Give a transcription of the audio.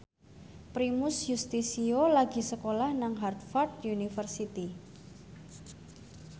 Primus Yustisio lagi sekolah nang Harvard university